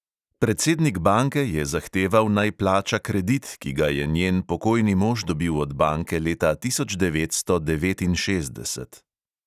Predsednik banke je zahteval, naj plača kredit, ki ga je njen pokojni mož dobil od banke leta tisoč devetsto devetinšestdeset.